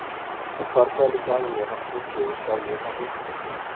Það hvarflaði líka að mér að Friðþjófur sjálfur hefði ort það.